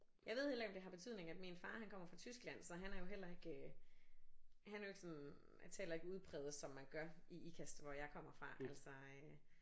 Jeg ved heller ikke om det har betydning at min far han kommer fra Tyskland så han er jo heller ikke øh han er jo ikke sådan han taler ikke udpræget som man gør i Ikast hvor jeg kommer fra altså øh